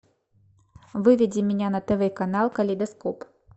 выведи меня на тв канал калейдоскоп